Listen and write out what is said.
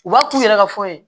U b'a t'u yɛrɛ ka fɔ ɲɛ